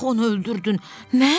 Niyə axı onu öldürdün?